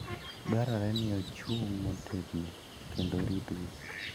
Dwarore ni ochung' motegno kendo oritgi.